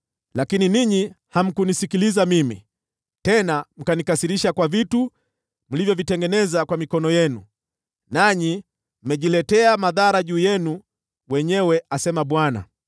“Lakini ninyi hamkunisikiliza mimi, tena mkanikasirisha kwa vitu mlivyovitengeneza kwa mikono yenu, nanyi mmejiletea madhara juu yenu wenyewe,” asema Bwana .